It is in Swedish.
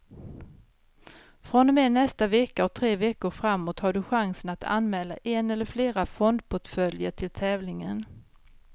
Från och med nästa vecka och tre veckor framåt har du chansen att anmäla en eller flera fondportföljer till tävlingen.